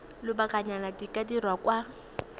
lobakanyana di ka dirwa kwa